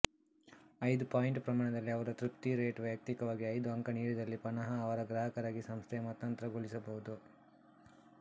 ಐದು ಪಾಯಿಂಟ್ ಪ್ರಮಾಣದಲ್ಲಿಅವರ ತೃಪ್ತಿ ರೇಟ್ ವೈಯಕ್ತಿಕವಾಗಿ ಐದು ಅಂಕ ನಿಡಿದಲ್ಲಿ ಪನಹ ಅವರ ಗ್ರಾಹಕರಾಗಿ ಸಂಸ್ಥೆಯ ಮತಾಂತರಗೊಳಿಸಬಹುದು